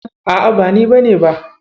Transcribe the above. A'a, ba ni bane ba.